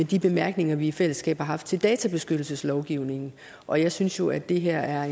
de bemærkninger vi i fællesskab har haft til databeskyttelseslovgivningen og jeg synes jo at det her